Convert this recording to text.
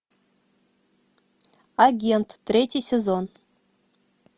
агент третий сезон